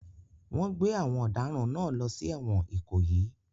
Wọ́n gbé àwọn ọ̀daràn náà lọ sí ẹ̀wọ̀n Ikoyi